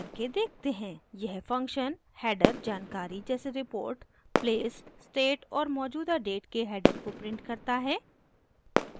यह function header जानकारी जैसे रिपोर्ट प्लेस स्टेट और मौजूदा डेट के हैडर को प्रिंट करता है